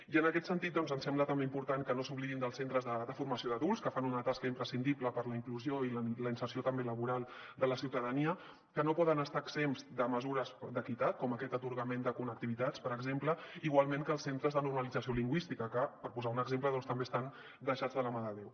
i en aquest sentit ens sembla també important que no s’oblidin dels centres de formació d’adults que fan una tasca imprescindible per a la inclusió i la inserció també laboral de la ciutadania que no poden estar exempts de mesures d’equitat com aquest atorgament de connectivitats per exemple igual que els centres de normalització lingüística que per posar ne un exemple doncs també estan deixats de la mà de déu